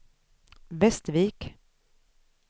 Västervik